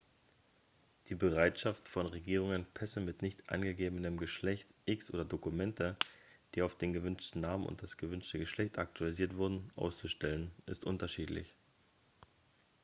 die bereitschaft von regierungen pässe mit nicht angegebenem geschlecht x oder dokumente die auf den gewünschten namen und das gewünschte geschlecht aktualisiert wurden auszustellen ist unterschiedlich